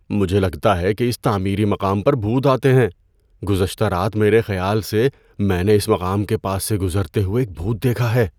مجھے لگتا ہے کہ اس تعمیری مقام پر بھوت آتے ہیں۔ گزشتہ رات میرے خیال سے میں نے اس مقام کے پاس سے گزرتے ہوئے ایک بھوت دیکھا ہے۔